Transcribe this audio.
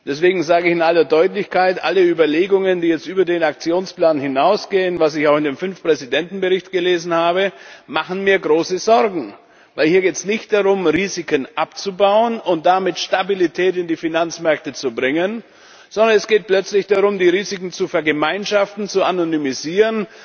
Deswegen sage ich in aller Deutlichkeit Alle Überlegungen, die jetzt über den Aktionsplan hinausgehen, was ich auch in dem Fünf Präsidenten Bericht gelesen habe, machen mir große Sorgen, weil es hier nicht darum geht, Risiken abzubauen und damit Stabilität in die Finanzmärkte zu bringen, sondern es geht plötzlich darum, die Risiken zu vergemeinschaften, zu anonymisieren,